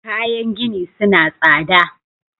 Kayan gini suna tsada.